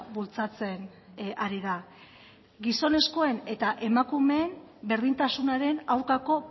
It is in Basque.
bultzatzen ari da gizonezkoen eta emakumeen berdintasunaren aurkako